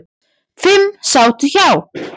Fimm sátu hjá.